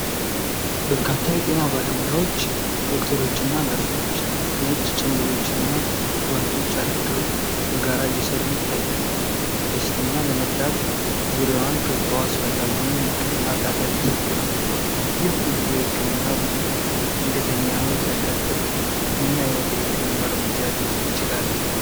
በርካታ የጤና ባለሙያዎች (ዶክተሮችና ነርሶች) ነጭ ጭምብሎችና ጓንቶች አድርገው በጋራ እየሠሩ ይታያሉ። በሽተኛ ለመርዳት ዙሪያዋን ከበው አስፈላጊውን የህክምና እርዳታ እየሰጡ ነው። ይህ ሁሉ የሕክምና ቡድን ድንገተኛ ሕመም ሲያጋጥም ምን ዓይነት የሕክምና እርምጃ ሊወስድ ይችላል?